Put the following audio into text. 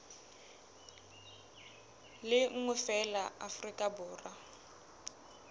le nngwe feela afrika borwa